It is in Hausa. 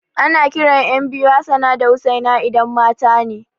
Ana kiran ƴan biyu da Hassana da Hussaina idan matane